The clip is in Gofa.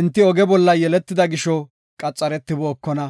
Enti oge bolla yeletida gisho qaxaretibookona.